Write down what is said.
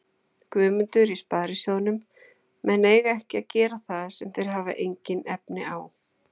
Guðmundur í Sparisjóðnum: menn eiga ekki að gera það sem þeir hafa engin efni á.